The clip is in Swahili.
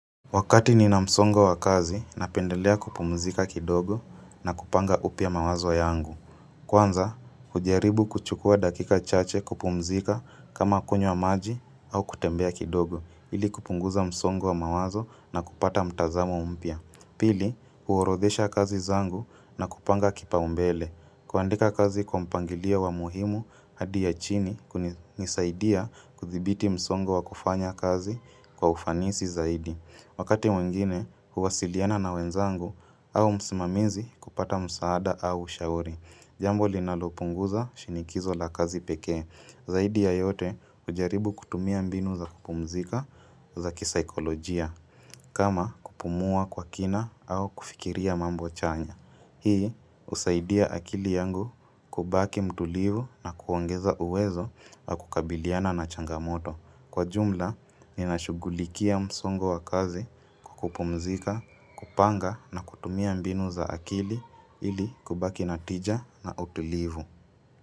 Wakati ni na msongo wa kazi, napendelea kupumzika kidogo na kupanga upya mawazo wa yangu. Kwanza, kujaribu kuchukua dakika chache kupumzika kama kunywa maji au kutembea kidogo, ili kupunguza msongo wa mawazo na kupata mtazamo mpya. Pili, kuorodhesha kazi zangu na kupanga kipau mbele. Kuandika kazi kwa mpangilio wa muhimu hadi ya chini kunisaidia kuthibiti msongo wa kufanya kazi kwa ufanisi zaidi. Wakati mwingine, huwasiliana na wenzangu au msimamizi kupata msaada au ushauri. Jambo linalopunguza shinikizo la kazi pekee. Zaidi ya yote ujaribu kutumia mbinu za kupumzika za kisaikolojia. Kama kupumua kwa kina au kufikiria mambo chanya. Hii, usaidia akili yangu kubaki mtulivu na kuongeza uwezo wa kukabiliana na changamoto. Kwa jumla, ninashugulikia msongo wa kazi kukupumzika, kupanga na kutumia mbinu za akili ili kubaki natija na utulivu.